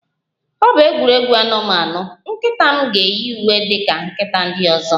Ọ bụ egwuregwu anụmanụ, nkịta m ga-eyi uwe dị ka nkịta ndị ọzọ